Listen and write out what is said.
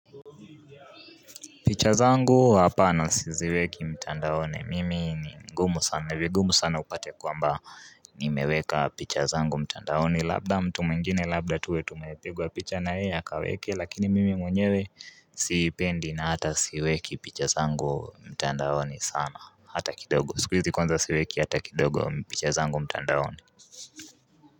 Picha zangu apana siziweki mtandaoni mimi ni ngumu sana vigumu sana upate kwamba nimeweka picha zangu mtandaoni labda mtu mwingine labda tuwe tumepigwa picha na yeye akaweke lakini mimi mwenyewe sipendi na hata siweki picha zangu mtandaoni sana hata kindogo siku izi kwanza siweki hata kindogo picha zangu mtandaoni.